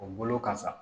O bolo ka sa